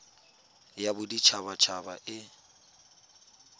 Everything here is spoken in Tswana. ya bodit habat haba e